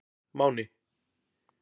Máni